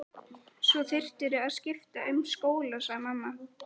Svo þyrftirðu að skipta um skóla sagði mamma.